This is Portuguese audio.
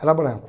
era branco.